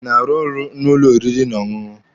Ị na-arụ n'ụlọ oriri na ọṅụṅụ?